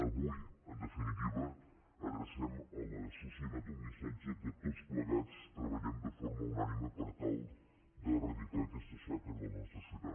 avui en definitiva adrecem a la societat un missatge que tots plegats treballem de forma unànime per tal d’eradicar aquesta xacra de la nostra societat